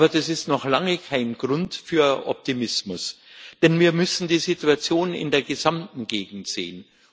Aber das ist noch lange kein Grund für Optimismus, denn wir müssen die Situation in der gesamten Gegend sehen.